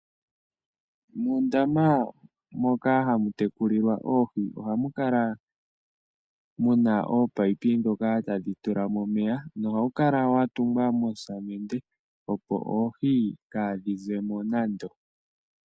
Muundama moka hamu tekulilwa oohi oha mu kala mu na ominino ndhoka tadhi tulamo omeya noha wu kala wa tungwa moosamende opo oohi kaadhi zemo.